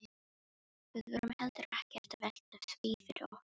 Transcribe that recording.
Við vorum heldur ekkert að velta því fyrir okkur.